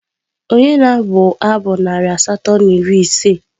Ònye na-abụ abụ narị asatọ na iri ise?